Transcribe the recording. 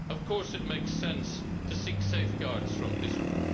Of course, it makes sense to seek safeguards from Israel.